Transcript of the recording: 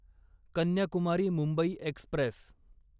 Kanyakumari Mumbai Express